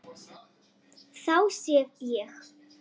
Þá sef ég